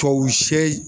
Tubabu se